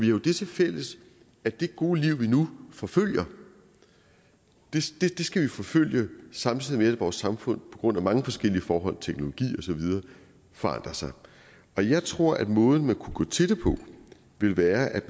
jo det tilfælles at det gode liv vi nu forfølger skal vi forfølge samtidig med at vores samfund på grund af mange forskellige forhold teknologi og så videre forandrer sig jeg tror at måden man kunne gå til det på ville være at